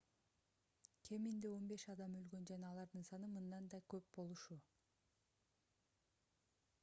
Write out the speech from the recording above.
кеминде 15 адам өлгөн жана алардын саны мындан да көп болушу